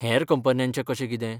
हेर कंपन्यांचें कशें कितें?